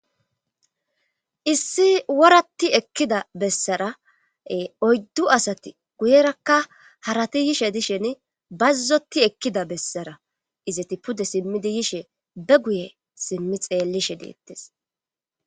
Issi worati ekkida bessarae oyddu asati guyerakka harati yishe dishen bazzoti ekkida bessara izeti pude simmidi yishe be guye simmi xeellishe deettes